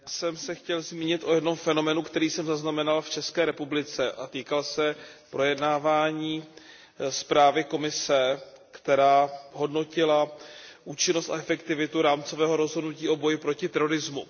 Pane předsedající, já jsem se chtěl zmínit o jednom fenoménu, který jsem zaznamenal v České republice a týkal se projednávání zprávy Komise, která hodnotila účinnost a efektivitu rámcového rozhodnutí o boji proti terorismu.